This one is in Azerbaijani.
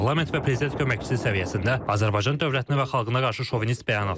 Parlament və prezident köməkçisi səviyyəsində Azərbaycan dövlətinə və xalqına qarşı şovinist bəyanatlar.